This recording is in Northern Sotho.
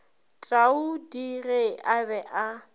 taudi ge a be a